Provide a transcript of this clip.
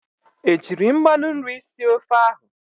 Ejiiri mmanụ nri sie ofe ahụ?